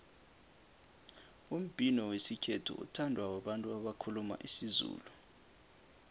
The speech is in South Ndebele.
umbhino wesikhethu uthandwa babantu abakhuluma isizulu